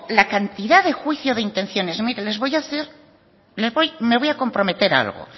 la cantidad de juicio de intenciones mire me voy comprometer a algo